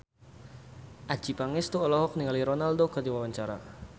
Adjie Pangestu olohok ningali Ronaldo keur diwawancara